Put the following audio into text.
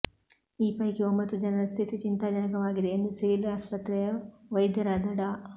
ಈ ಪೈಕಿ ಒಂಬತ್ತು ಜನರ ಸ್ಥಿತಿ ಚಿಂತಾಜನಕವಾಗಿದೆ ಎಂದು ಸಿವಿಲ್ ಆಸ್ಪತ್ರೆಯ ವೈದ್ಯರಾದ ಡಾ